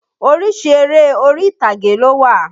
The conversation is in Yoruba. Oríṣi eré orí-ìtàgé ló wà.